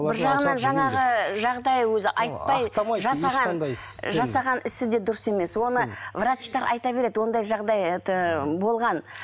бір жағынан жаңағы жағдай өзі айтпай жасаған жасаған ісі де дұрыс емес оны врачтар айта береді ондай жағдай это болған